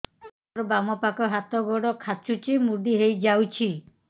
ମୋର ବାମ ପାଖ ହାତ ଗୋଡ ଖାଁଚୁଛି ମୁଡି ହେଇ ଯାଉଛି